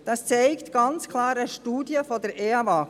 Das zeigt eine Studie der Eawag deutlich auf.